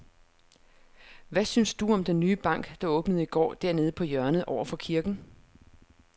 Hvad synes du om den nye bank, der åbnede i går dernede på hjørnet over for kirken?